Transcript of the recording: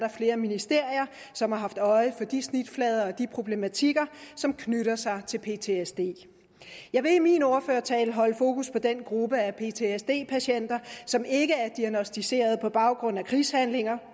flere ministerier som har haft øje for de snitflader og de problematikker som knytter sig til ptsd jeg vil i min ordførertale holde fokus på den gruppe af ptsd patienter som ikke er diagnosticeret på baggrund af krigshandlinger